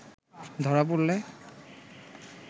ধরা পড়লে